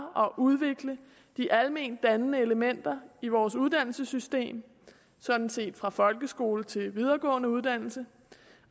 og udvikle de almendannende elementer i vores uddannelsessystem sådan set fra folkeskole til videregående uddannelse